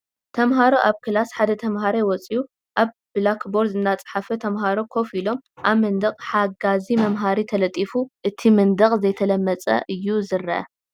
ተመሃሮ ኣብ ክላስ ሓደ ተመሃራይ ወፅዩ ኣብ ብላክ ቦርድ እናፀሓፈ ተምሃሮ ኮፍ ኢሎም ኣብ መንደቅ ሓጋዚ መምሃሪ ተለጢፉ እቲ መንደቅ ዘይተለመፀ እዩ ዝኒአ ።